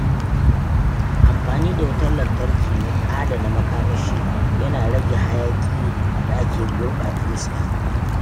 Amfani da wutar lantarki mai adana makamashi yana rage hayaƙin da ke gurɓata iska.